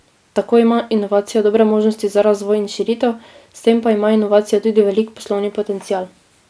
Tako ima inovacija dobre možnosti za razvoj in širitev, s tem pa ima inovacija tudi velik poslovni potencial.